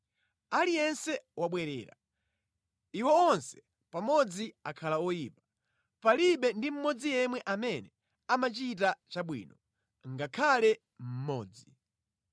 Aliyense wabwerera, iwo onse pamodzi akhala oyipa; palibe ndi mmodzi yemwe amene amachita chabwino, ngakhale mmodzi.